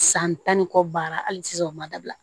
San tan ni kɔ ban hali sisan u ma dabila